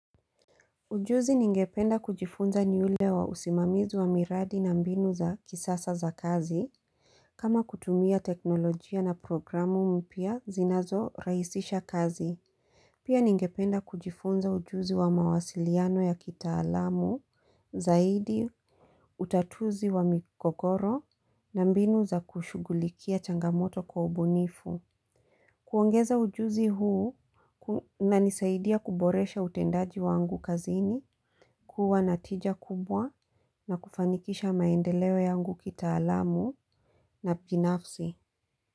Ujuzi ningependa kujifunza ni ule wa usimamizi wa miradi na mbinu za kisasa za kazi. Kama kutumia teknolojia na programu mpya zinazo rahisisha kazi. Pia ningependa kujifunza ujuzi wa mawasiliano ya kitaalamu, zaidi, utatuzi wa migogoro na mbinu za kushugulikia changamoto kwa ubunifu. Kuongeza ujuzi huu unanisaidia kuboresha utendaji wangu kazini, kuwa na tija kubwa na kufanikisha maendeleo yangu kitaalamu na binafsi.